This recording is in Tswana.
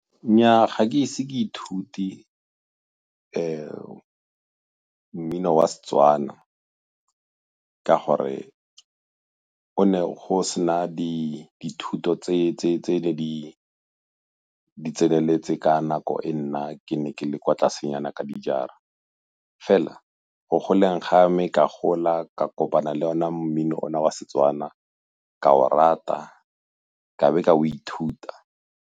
Nnyaa ga ke ise ke ithute mmino wa Setswana ka gore go ne go se na dithuto tse ne di tseneletse ka nako e nna ke ne ke le kwa tlasenyana ka dijara. Fela go goleng ga me, ka gola ka kopana le ona mmino ona wa Setswana ka o rata ka be ka o ithuta.